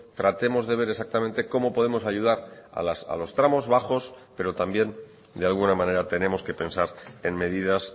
tratemos de ver exactamente cómo podemos ayudar a los tramos bajos pero también de alguna manera tenemos que pensar en medidas